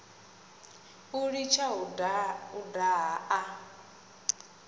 u litsha u daha a